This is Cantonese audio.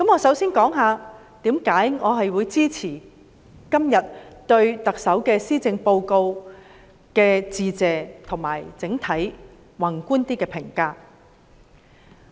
首先，我會談談我支持今天對特首施政報告致謝的原因，以及整體較宏觀的評價。